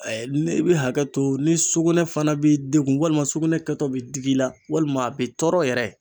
i bi hakɛ to ni sugunɛ fana b'i degun walima sugunɛ kɛtɔ bɛ d'i la walima a bi tɔɔrɔ yɛrɛ.